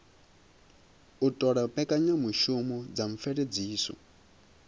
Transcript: u ṱola mbekanyamushumo dza mveledziso